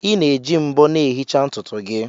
Ị na-eji mbo na-ehicha ntutu gị